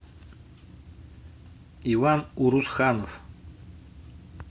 иван урусханов